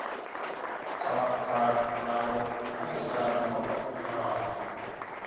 khwakhwa na vhuṱasana ho omaho